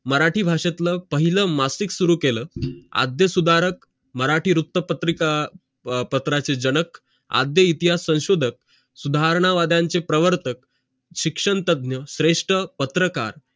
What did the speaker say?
मराठी भाषेतला पहिल मासिक सुरु केलं अध्या सुधारक मराठी वृत्त पत्राचे जनक अध्य इतिहास संशॊखक सुधारणा वादाचे प्रवर्तक शिक्षक तज्ञ श्रेष्ठ पत्रकार